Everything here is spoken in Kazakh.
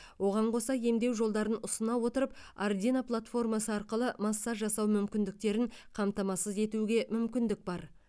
оған қоса емдеу жолдарын ұсына отырып ардийно платформасы арқылы массаж жасау мүмкіндіктерін қамтамасыз етуге мүмкіндік бар